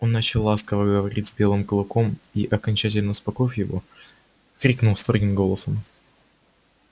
он начал ласково говорить с белым клыком и окончательно успокоив его крикнул строгим голосом